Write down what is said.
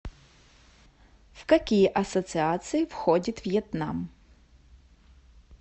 в какие ассоциации входит вьетнам